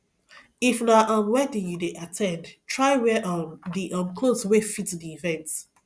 if na um wedding you dey at ten d try wear um di um cloth wey fit di event